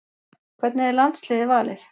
Hvernig er landsliðið valið